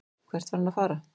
Hvert var hann að fara?